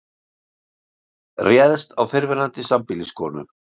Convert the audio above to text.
Réðst á fyrrverandi sambýliskonu